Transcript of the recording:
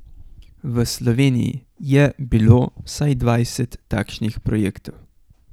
V Sloveniji je bilo vsaj dvajset takšnih projektov ...